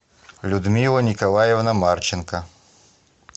людмила николаевна марченко